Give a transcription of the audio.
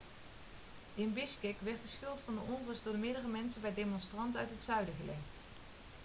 in bishkek werd de schuld van de onrust door meerdere mensen bij demonstranten uit het zuiden gelegd